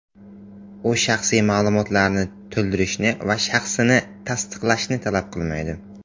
U shaxsiy ma’lumotlarni to‘ldirishni va shaxsni tasdiqlashni talab qilmaydi.